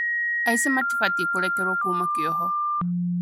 Aici matibatiĩ kũrekererio kuuma kĩoho